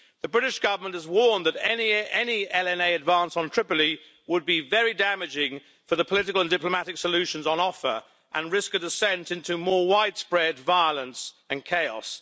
The British Government has warned that any LNA advance on Tripoli would be very damaging for the political and diplomatic solutions on offer and risk a descent into more widespread violence and chaos.